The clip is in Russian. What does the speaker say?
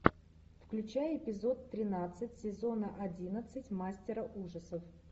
включай эпизод тринадцать сезона одиннадцать мастера ужасов